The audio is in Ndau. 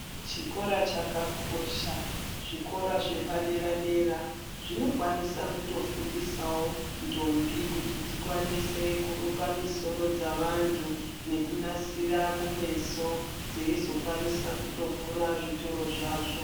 Chikora chakakosha. Zvikira zvepadera dera, zvinikwanisa kutofundisawo ntombi kuti dzikwanise kuruka misoro dzavantu nekunasira kumeso, dzeyizokwanisa kutovhura zvitoro zvazvo.